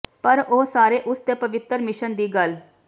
ਪਰ ਉਹ ਸਾਰੇ ਉਸ ਦੇ ਪਵਿੱਤਰ ਮਿਸ਼ਨ ਦੀ ਗੱਲ